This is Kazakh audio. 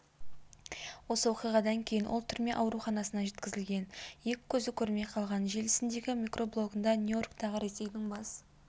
осы оқиғадан кейін ол түрме ауруханасына жеткізілген екі көзі көрмей қалған желісіндегі микроблогында нью-йорктағы ресейдің бас